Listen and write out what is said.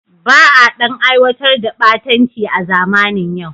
Ba a ɗan aiwatar da ɓatanci a zamanin yau.